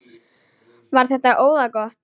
Var þetta óðagot?